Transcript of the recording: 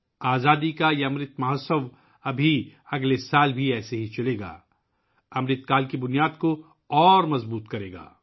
آزادی کا یہ امرت مہوتسو اگلے سال بھی اسی طرح جاری رہے گا یہ امرت کال کی بنیاد کو مزید مضبوط کرے گا